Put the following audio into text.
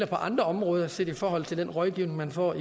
på andre områder set i forhold til den rådgivning man får